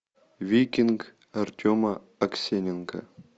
викинг артема аксененко